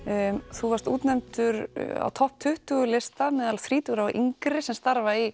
þú varst útnefndur á topp tuttugu lista meðal þrítugra og yngri sem starfa í